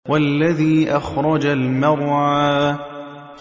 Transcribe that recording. وَالَّذِي أَخْرَجَ الْمَرْعَىٰ